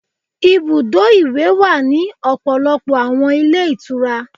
Ibùdó ìwẹ̀ wà ní ọ̀pọ̀lọpọ̀ àwọn ilé ìtura.